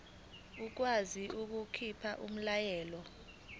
ikwazi ukukhipha umyalelo